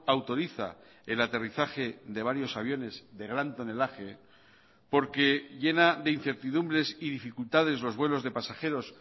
autoriza el aterrizaje de varios aviones de gran tonelaje porque llena de incertidumbres y dificultades los vuelos de pasajeros